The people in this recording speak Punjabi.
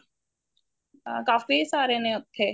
ਅਹ ਕਾਫੀ ਸਾਰੇ ਨੇ ਉੱਥੇ